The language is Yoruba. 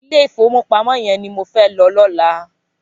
Ilé ifówópámò yèn ni mó fè lò lòlá